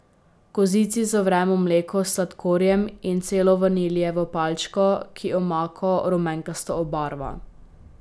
V kozici zavremo mleko s sladkorjem in celo vaniljevo palčko, ki omako rumenkasto obarva.